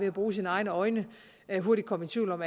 at bruge sine egne øjne hurtigt komme i tvivl om